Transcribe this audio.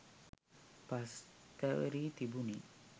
පස් තැවරී තිබුණි.